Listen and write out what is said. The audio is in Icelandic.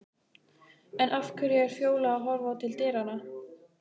En af hverju er Fjóla að horfa til dyranna?